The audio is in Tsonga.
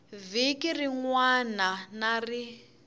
vhiki rin wana na rin